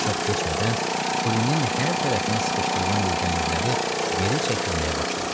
Çox keçmədən Furinin hər tərəfdən sıxışdırılan legionerləri geri çəkilməyə başladı.